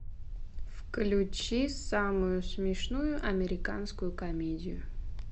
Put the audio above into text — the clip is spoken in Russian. включи самую смешную американскую комедию